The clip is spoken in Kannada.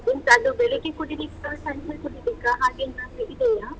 ಎಂತ ಅದು ಬೆಳಗ್ಗೆ ಕುಡಿಲಿಕ್ಕಾ, ಸಂಜೆ ಕುಡಿಲಿಕ್ಕಾ ಹಾಗೆ ಏನಾದ್ರು ಇದೆಯಾ?